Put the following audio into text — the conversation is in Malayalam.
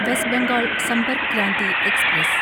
west Bengal Sampark Kranti express